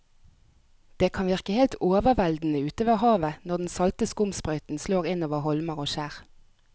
Det kan virke helt overveldende ute ved havet når den salte skumsprøyten slår innover holmer og skjær.